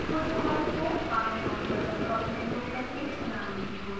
छोटे वर्ग को बाएं माउस बटन का उपयोग करके चलने की कोशिश करें